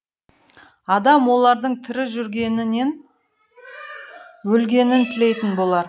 адам олардың тірі жүргенінен өлгенін тілейтін болар